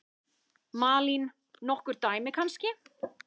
Malín: Nokkur dæmi kannski?